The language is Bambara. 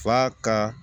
Fa ka